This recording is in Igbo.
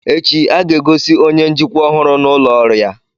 Echi, a ga-egosi onye njikwa ọhụrụ n'ụlọ ọrụ ya.